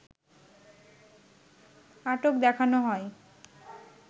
আটক দেখানো হয়